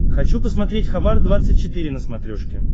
хочу посмотреть хабар двадцать четыре на смотрешке